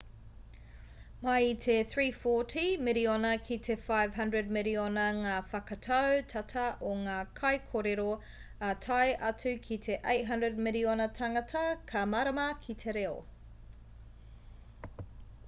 mai i te 340 miriona ki te 500 miriona ngā whakatau tata o ngā kaikōrero ā tae atu ki te 800 miriona tāngata ka mārama ki te reo